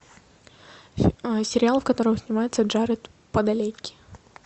сериал в котором снимается джаред падалеки